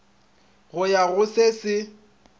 go ya go se se